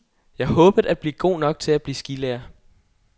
Jeg håbede at blive god nok til at blive skilærer.